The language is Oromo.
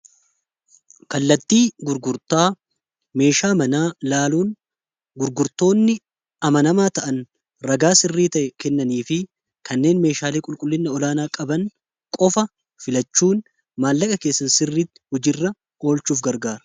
kallattii gurgurtaa meeshaa laaluun gurgurtoonni amanamaa ta'an ragaa sirrii ta'e kennanii fi kanneen meeshaalee qulqullinna olaanaa qaban qofa filachuun maallaqa keessa sirriitti hojiirra oolchuuf gargaara.